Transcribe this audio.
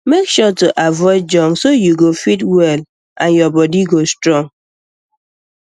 make sure to avoid junk so you go fit well and your body go strong